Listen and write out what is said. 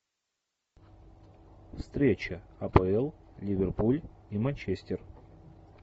встреча апл ливерпуль и манчестер